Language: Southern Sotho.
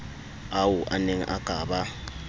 ao aneng a ka ba